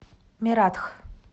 мератх